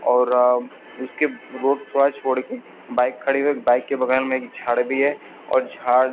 और उसके रोड थोडा छोड़ के बाइक खड़ी है बाइक के बगल में एक झाड भी है और झाड़ --